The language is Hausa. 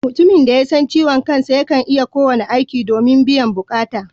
Mutumin da ya san ciwon kansa yakan iya yin kowane aiki domin biyan bukata